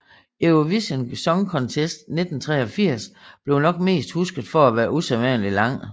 Eurovision Song Contest 1983 blev nok mest husket for at være usædvanlig lang